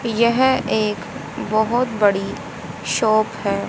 यह एक बहुत बड़ी शॉप है।